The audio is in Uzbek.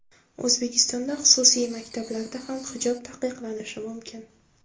O‘zbekistonda xususiy maktablarda ham hijob taqiqlanishi mumkin .